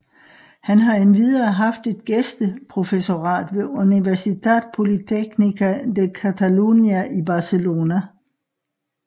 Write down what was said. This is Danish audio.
Han har endvidere haft et gæsteprofessorat ved Universitat Polytecnica de Catalunya i Barcelona